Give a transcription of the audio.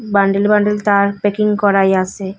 Bundle bundle তার packing করাই আসে ।